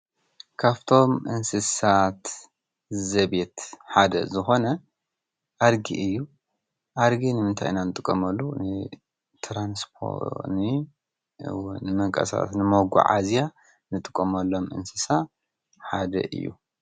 ካብቶም እንስሳ ዘቤት ሓደ ዝኾነ አድጊ እዩ፡፡ ኣድጊ ንምንታይ ኢና እንጥቀመሉ ንመጓዓዝያ ካብ እንጥቀመሎም እንስሳ ሓደ እዩ፡፡